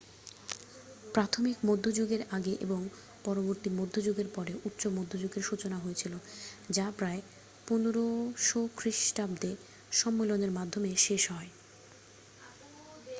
প্রাথমিক মধ্যযুগের আগে এবং পরবর্তী মধ্যযুগের পরে উচ্চ মধ্যযুগের সূচনা হয়েছিল যা প্রায় 1500 খ্রিষ্টাব্দে সম্মেলনের মাধ্যমে শেষ হয়